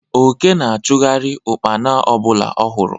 Oke na-achụgharị Ụkpana ọbụla ọ hụrụ